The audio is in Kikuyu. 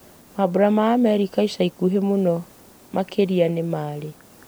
mambura ma merika ica ikuhĩ mũno makĩria nĩ marĩ